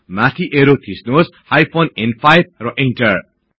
माथि ऐरो थिच्नुहोस् हाइफेन न्5 र इन्टर